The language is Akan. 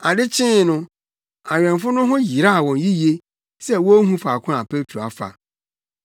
Ade kyee no, awɛmfo no ho yeraw wɔn yiye sɛ wonhu faako a Petro afa.